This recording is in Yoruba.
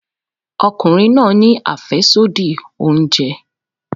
Ọkùnrin náà ni afesodi oúnjẹ.